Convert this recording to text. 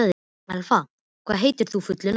Elfa, hvað heitir þú fullu nafni?